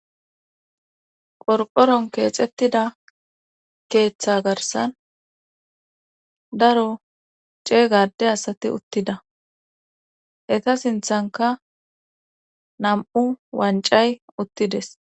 qorporon keexettida keeththa garsan daro ceegade asati uttida eta sinthanka nam7u wancay uttides